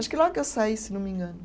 Acho que logo que eu saí, se não me engano.